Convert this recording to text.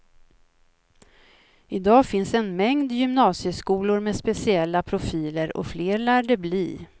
Idag finns en mängd gymnasieskolor med speciella profiler och fler lär det bli.